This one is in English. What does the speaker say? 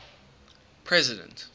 president